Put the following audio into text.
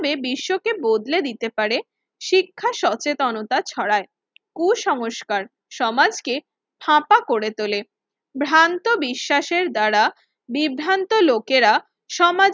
বে বিশ্বকে বদলে দিতে পারে শিক্ষা সচেতনতা ছড়ায়। কুসংস্কার সমাজকে ফাঁপা করে তোলে। ভ্রান্ত বিশ্বাসের দ্বারা বিভ্রান্ত লোকেরা সমা